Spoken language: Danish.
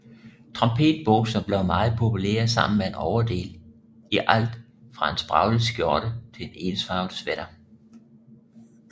Trompetbukser blev meget populære sammen med en overdel i alt fra en spraglet skjorte til en ensfarvet sweater